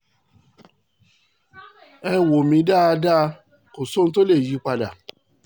ẹ wò mí dáadá kò sí ohun tó lè yí i padà